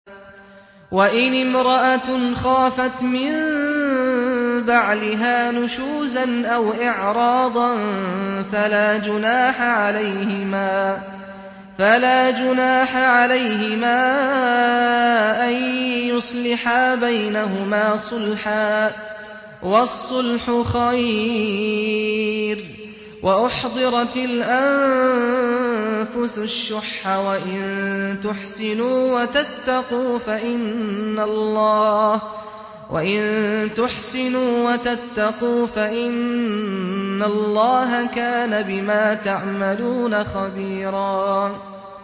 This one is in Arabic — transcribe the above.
وَإِنِ امْرَأَةٌ خَافَتْ مِن بَعْلِهَا نُشُوزًا أَوْ إِعْرَاضًا فَلَا جُنَاحَ عَلَيْهِمَا أَن يُصْلِحَا بَيْنَهُمَا صُلْحًا ۚ وَالصُّلْحُ خَيْرٌ ۗ وَأُحْضِرَتِ الْأَنفُسُ الشُّحَّ ۚ وَإِن تُحْسِنُوا وَتَتَّقُوا فَإِنَّ اللَّهَ كَانَ بِمَا تَعْمَلُونَ خَبِيرًا